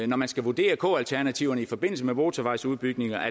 når man skal vurdere k alternativerne i forbindelse med motorvejsudbygninger